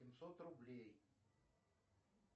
семьсот рублей